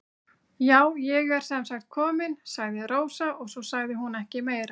Já, ég er sem sagt komin, sagði Rósa og svo sagði hún ekki meira.